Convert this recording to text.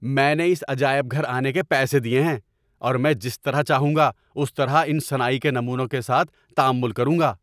میں نے اس عجائب گھر آنے کے پیسے دیے ہیں، اور میں جس طرح چاہوں گا اس طرح ان صناعی کے نمونوں کے ساتھ تعامل کروں گا۔